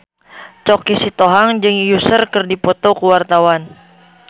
Choky Sitohang jeung Usher keur dipoto ku wartawan